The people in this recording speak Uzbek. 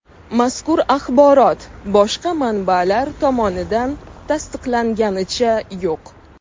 Mazkur axborot boshqa manbalar tomonidan tasdiqlanganicha yo‘q.